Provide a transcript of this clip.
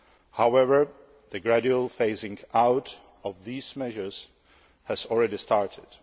However, the gradual phasing out of these measures has already started.